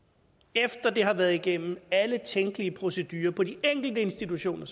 efter det har været igennem alle tænkelige procedurer på de enkelte institutioner